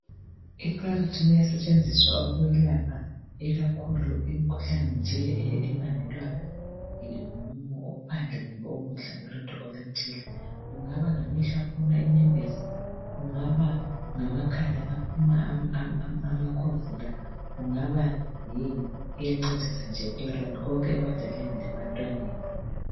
Iclaritin iyasebenzisa ukulapha ikakhulu imikhuhlane nje ebangelwa ngumumo ophandle kumbe ukudla ulutho oluthile kungaba ngamehlo aphuma inyembezi kungaba ngamakhala aphuma amkhovula kungaba yini iyancedisa nje konke ebadaleni lebantwaneni.